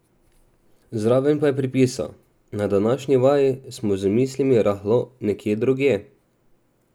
Zraven pa je pripisal: "Na današnji vaji smo z mislimi rahlo nekje drugje ...